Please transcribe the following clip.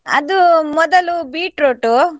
ಅದು ಮೊದಲು beetroot .